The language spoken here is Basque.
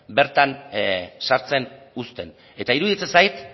bertan sartzen uzten eta iruditzen zait